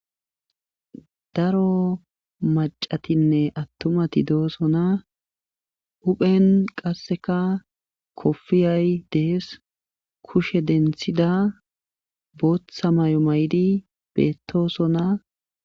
Daro macatinne attumati doosona huphen qasseka kopfiyay dees kushe denthida booththa mayo mayi beettosona